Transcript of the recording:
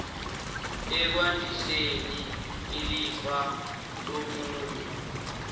ekwandiseni ilifa lomunye